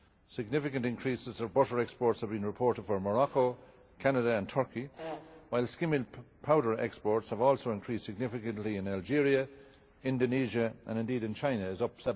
Significant increases of butter exports have been reported from Morocco, Canada and Turkey, while skimmed milk powder exports have also increased significantly in Algeria, Indonesia, and indeed in China it is up